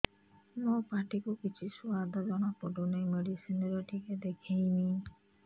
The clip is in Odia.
ମୋ ପାଟି କୁ କିଛି ସୁଆଦ ଜଣାପଡ଼ୁନି ମେଡିସିନ ରେ ଟିକେ ଦେଖେଇମି